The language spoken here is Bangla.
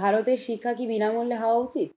ভারতের শিক্ষা কি বিনামূল্যে হওয়া উচিত?